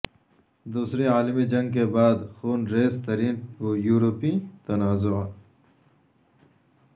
دوسری عالمی جنگ کے بعد خونریز ترین یورپی تنازعہ